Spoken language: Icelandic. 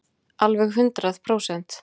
Alveg hundrað prósent.